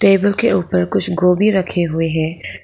Table के ऊपर कुछ गोभी रखे हुए हैं।